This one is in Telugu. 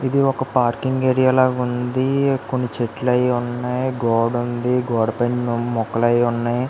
ఏది వక పార్కింగ్ ఏరియా లాగా ఉందికొని చెట్లు ఉన్నాయి గోడ ఉంది అండ్ గోడ కింద మొక్కలు అయ్యి ఉన్నాయి .